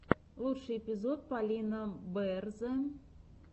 лучший эпизод полина бээрзэ